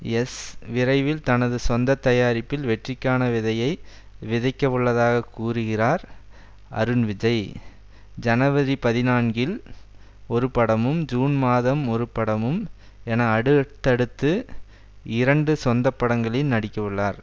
yes விரைவில் தனது சொந்த தயாரிப்பில் வெற்றிக்கான விதையை விதைக்கவுள்ளதாக கூறுகிறார் அருண்விஜய் ஜனவரி பதினான்கில் ஒருபடமும் ஜூன் மாதம் ஒருபடமும் என அடுவ்தடுத்து இரண்டு சொந்த படங்களில் நடிக்கவுள்ளார்